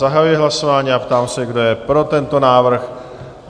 Zahajuji hlasování a ptám se, kdo je pro tento návrh?